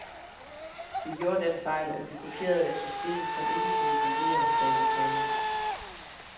Vi gjorde den fejl, at vi kopierede et system, som ikke kunne fungere, sagde den tredje.